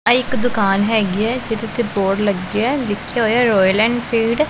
ਐ ਇੱਕ ਦੁਕਾਨ ਹੈਗੀ ਹੈ ਜਿਹਦੇ ਤੇ ਬੋਰਡ ਲੱਗੇ ਆ ਲਿਖਿਆ ਹੋਇਆ ਰੋਇਲ ਐਨਫੀਲਡ ।